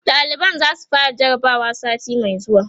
ɗaliban zasu fara jarabawa sati Mai zuwa